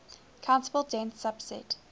countable dense subset